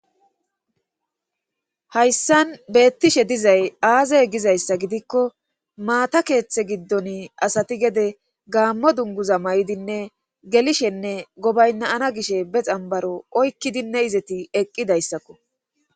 hayssan beettishe dizay aazey gizayssa gidikko maata keeththe giddon asati gede gaammo dunguza may7idinne gelishenne gobaynaana gishe be xambaro oykkidinne izeti eqqidayssakko